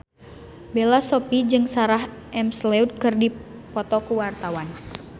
Bella Shofie jeung Sarah McLeod keur dipoto ku wartawan